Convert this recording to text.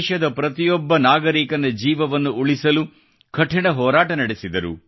ದೇಶದ ಪ್ರತಿಯೊಬ್ಬ ನಾಗರಿಕನ ಜೀವವನ್ನು ಉಳಿಸಲು ಕಠಿಣ ಹೋರಾಟ ನಡೆಸಿದರು